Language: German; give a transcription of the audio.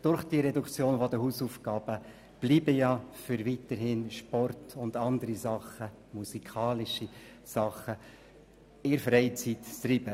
Auch bleiben die Freiräume für Sport, Musik und andere Hobbys erhalten.